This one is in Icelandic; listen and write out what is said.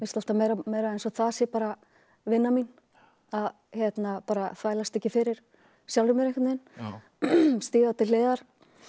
alltaf meira eins og það sé bara vinnan mín að þvælast ekki fyrir sjálfri mér stíga til hliðar